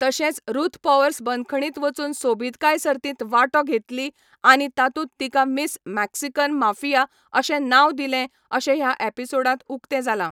तशेंच Ruth Powers बंदखणींत वचून सोबीतकाय सर्तींत वांटो घेतली आनी तातूंत तिका मिस मेक्सिकन माफिया अशें नांव दिलें अशें ह्या एपिसोडांत उक्तें जालां.